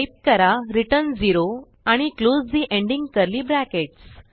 type करा return 0 आणि close the ending curly bracket